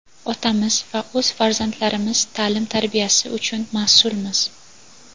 otamiz va o‘z farzandlarimiz taʼlim-tarbiyasi uchun masʼulmiz.